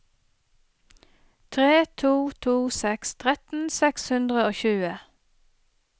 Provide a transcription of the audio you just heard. tre to to seks tretten seks hundre og tjue